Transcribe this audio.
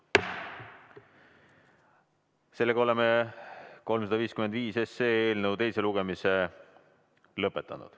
Sellega oleme eelnõu 355 teise lugemise lõpetanud.